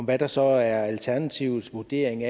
hvad der så er alternativets vurdering